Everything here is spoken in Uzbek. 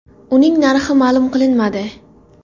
Uning narxi ma’lum qilinmadi.